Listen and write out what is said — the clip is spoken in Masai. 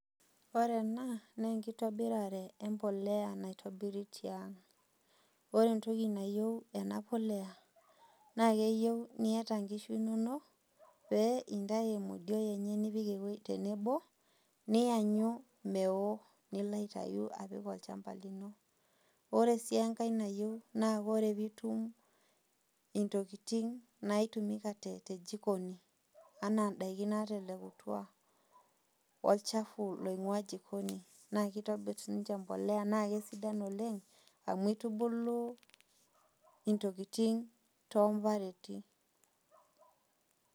Ore ena naa enkitobirare embolea naitobiri tiang'. Ore entoki nayieu ena polea naa keyieu niata inkishu inono pee intayu emodioe nipik tenebo niyanyu mewo nilo aitayu apik olchamba lino. Ore sii enkae nayieu ore piitum intokitin naitumika tejikoni anaa indaiki naatelekutua olchafu oingua jikoni naa kitobir sininje embolea naakitobir oleng' amu eitubilu intokitin too mbarentin.